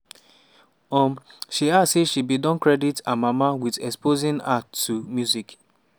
um she add say she bin don always credit her mama wit exposing her to music.